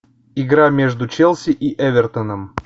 игра между челси и эвертоном